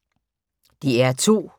DR2